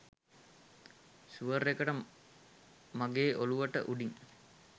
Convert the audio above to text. sure එකට මගෙ ඔලුවට උඩින්